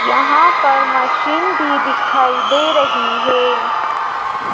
यहां पर मशीन भी दिखाई दे रही है।